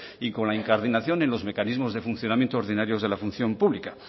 y con la incardinación y los mecanismos de funcionamiento ordinario de la función pública